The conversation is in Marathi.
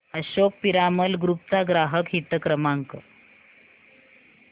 अशोक पिरामल ग्रुप चा ग्राहक हित क्रमांक